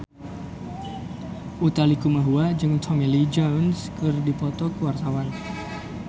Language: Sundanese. Utha Likumahua jeung Tommy Lee Jones keur dipoto ku wartawan